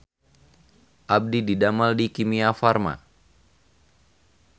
Abdi didamel di Kimia Farma